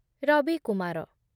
Ravikumar